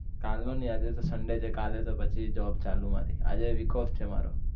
કાલ નો ની આજે તો sunday છે કાલે તો પછી job ચાલુ મારી આજે week off છે મારો